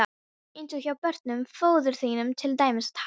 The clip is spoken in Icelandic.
Eins og hjá honum föður þínum til dæmis að taka.